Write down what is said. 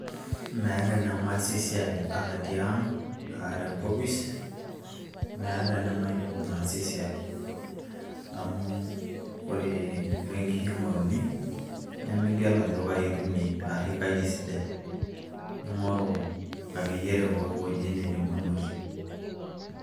meeta enemaasie esiai atii ang aata enkopis meeta enemaidim ataasie esiai amu ore inkishu ing'oruni nemigel ajo kaji itumie ashu kaji esidai ning'oru akeyie te pooki wueji nindim anotie.